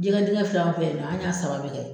Jigɛ digɛn filɛ an fɛ yen nɔ an y'a saba bɛɛ kɛ.